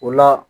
O la